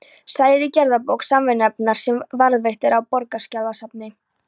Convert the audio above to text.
segir í gerðabók Samvinnunefndar, sem varðveitt er á Borgarskjalasafni.